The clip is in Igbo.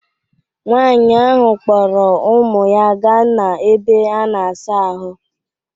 Nwaanyị ahụ kpọrọ ụmụ ya ga n'ebe a na-asa ahụ.